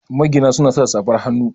magina suna sa safar hannu